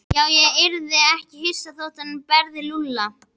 Já, ég yrði ekki hissa þótt hann berði Lúlla.